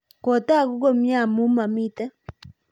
kotogu komye amu mamito